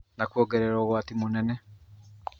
Na kuongerera ũgwati mũnene.